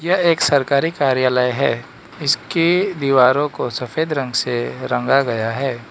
यह एक सरकारी कार्यालय है इसके दीवारों को सफेद रंग से रंगा गया है।